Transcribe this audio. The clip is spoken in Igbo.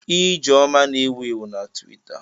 Ijeoma na-ewu ewu na Twitita.